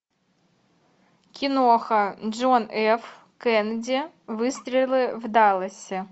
киноха джон ф кеннеди выстрелы в далласе